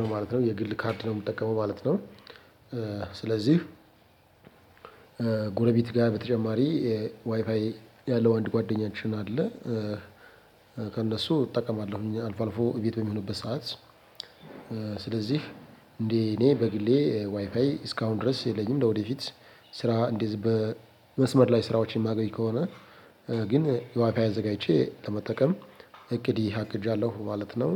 ነው ማለት ነው የግል ካርድ ነው ምጠብቀው ማለት ነው። ስለዚህ፣ ጎረቤት ጋር በተጨማሪ፣ ዋይፋይ ያለው አንድ ጓደኛችን አለ። ከእነሱ እጠቀማለሁኝ። አልፎ አልፎ እቤት በሚሆንበት ሰዓት ስለዚህ እንዴ እኔ በግሌ ዋይፋይ እስካሁን ድረስ የለኝም። ለወደፊት ስራ እንደዚህ በመስመር ላይ ስራዎችን የማገኝ ከሆነ ግን፣ ዋይፋይ አዘጋጅቼ ለመጠቀም፣ እቅድ ዓቅጃለሁ። ማለት ነው